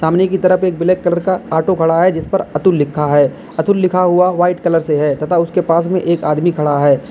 कोने की तरफ एक ब्लैक कलर का ऑटो खड़ा है जिस पर अतुल लिखा है अतुल लिखा हुआ वाइट कलर से है तथा उसके पास में एक आदमी खडा है।